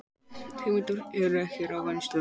Hugmyndir ekki ræddar í stjórn OR